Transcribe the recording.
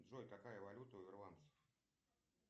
джой какая валюта у ирландцев